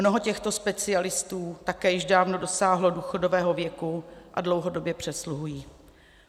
Mnoho těchto specialistů také již dávno dosáhlo důchodového věku a dlouhodobě přesluhují.